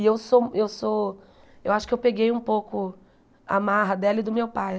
E eu sou eu sou eu acho que eu peguei um pouco a marra dela e do meu pai.